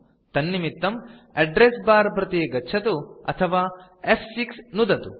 तन्निमित्तं address bar प्रति गच्छतु अथवा फ्6 नुदतु